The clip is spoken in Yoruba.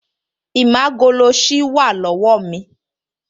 Ìmágoloṣí wà lọ́wọ́ mi